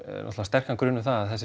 náttúrulega sterkan grun um það að